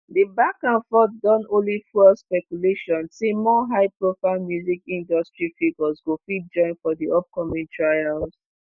di back and forth don only fuel speculation say more high-profile music industry figures go fit join for di upcoming trials.